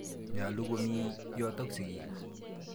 Nyalu komi yotok sigik.